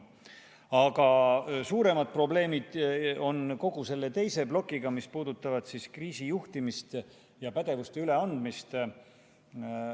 Aga suuremad probleemid on kogu selle teise plokiga, mis puudutab kriisijuhtimist ja pädevuste üleandmist.